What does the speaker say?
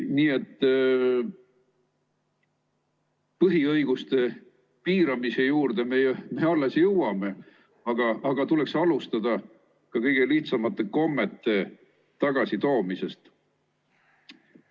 Nii et põhiõiguste piiramise juurde me alles jõuame, aga tuleks alustada ka kõige lihtsamate kommete tagasitoomisest.